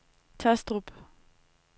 Taastrup